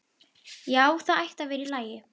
Já, það ætti að vera í lagi.